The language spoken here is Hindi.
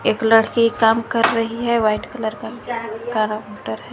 एक लड़की काम कर रही है वाइट कलर का काउंटर है।